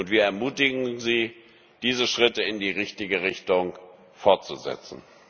Wir ermutigen sie, diese Schritte in die richtige Richtung fortzusetzen.